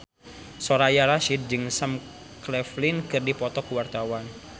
Soraya Rasyid jeung Sam Claflin keur dipoto ku wartawan